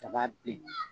Kaba bin